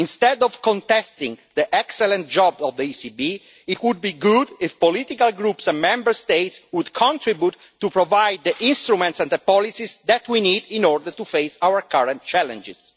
Instead of contesting the excellent job of the ECB, it would be good if political groups and Member States would contribute to providing the instruments and policies that we need in order to face our current challenges.